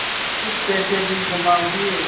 कुछ पैसे भी जमा हुए